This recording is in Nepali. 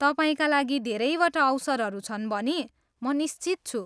तपाईँका लागि धेरैवटा अवसरहरू छन् भनी म निश्चित छु।